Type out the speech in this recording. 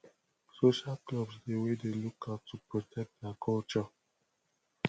social clubs dey wey dey look out to protect their culture